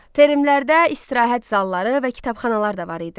Termlərdə istirahət zalları və kitabxanalar da var idi.